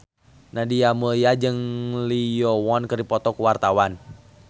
Nadia Mulya jeung Lee Yo Won keur dipoto ku wartawan